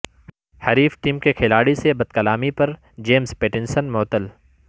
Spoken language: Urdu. حریف ٹیم کے کھلاڑی سے بد کلامی پر جیمز پیٹنسن معطل